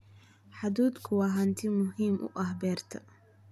Hadhuudhku waa hanti muhiim u ah beerta.